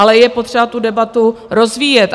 Ale je potřeba tu debatu rozvíjet.